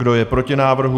Kdo je proti návrhu?